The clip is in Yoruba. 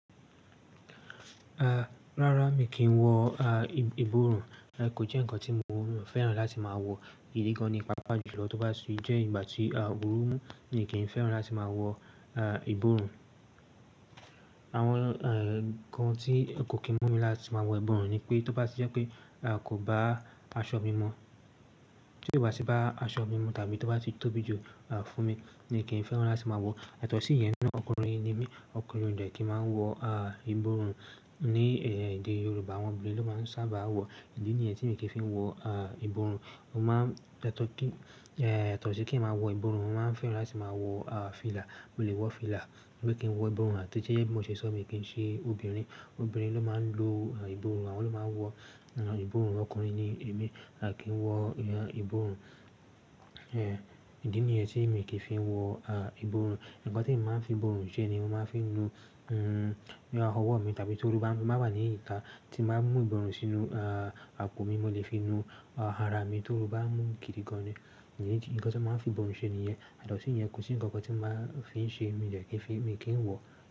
Rárá, mi kì í wọ ìborùn. Kò jẹ́ ǹkan tí mo fẹ́ràn láti máa wọ, ìdí gan-an ni, pàápàá jùlọ tó bá sì jẹ́ ìgbà tí òórùn mú mi kì í fẹ́ràn láti máa wọ ìborùn. Àwọn ǹkan tí kò kí mú mi láti máa wọ ìborùn ni pé, tó bá sì jẹ́ pe, tí ó bá tì bá aṣọ mi mu, tàbí tó bá ti tóbi jù fún mi mi kì í fẹ́ràn láti máa wọ. Yàtọ̀ sí yẹn náà, ọkùnrin ni mí, ọkùnrin ò dẹ̀ kí n máa wọ ìborùn, ní ilẹ̀ Yorùbá àwọn obìnrin ló ma ń sáábà wọ, ìdí nìyí tí mi ò fi kí ń wọ yàtọ̀ sí kì í n máa wọ ìborùn, mo máa ń fẹ́ràn láti máa wọ fílà, mo lè wọ fílà mi o kì í wọ ìborùn àti tí ó jẹ́ bí mo ṣe sọ mi kì í ṣe obìnrin. Obìnrin ló máa ń lo ìborùn, àwọn ló máa ń wọ ìborùn, ọkùnrin ni èmi, à kí ń wọ ìborùn. Ìdí nìyẹn tí mi kì í fi wọ ìborùn. Ǹkan tí màá fi ìbò rùn ṣe ni mo máa ń fi nu ọwọ́ mi, tàbí tí ooru bá máa bà ní ìta tí màá mú ìbò rùn sínú àpò mi, mo lè fi nu ara mi tóru bá mú kiri gan-an ni. Idí nìyí, ǹkan tí n màá fi ìbòrùn ṣe nìyẹn. Yàtọ̀ sí yẹn kò sí ǹkan kan tí màá fi ń ṣe, mi dẹ̀ kí ń fi, mi kì í wọ.